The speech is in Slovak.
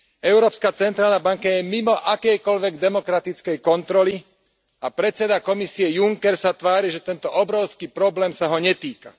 Európska centrálna banka je mimo akejkoľvek demokratickej kontroly a predseda komisie Juncker sa tvári, že tento obrovský problém sa ho netýka.